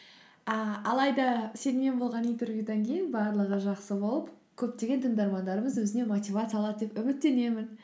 ііі алайда сенімен болған интервьюдан кейін барлығы жақсы болып көптеген тыңдармандарымыз өзіне мотивация алады деп үміттенемін